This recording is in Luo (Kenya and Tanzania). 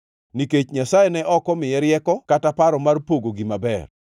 nikech Nyasaye ne ok omiye rieko kata paro mar pogo gima ber.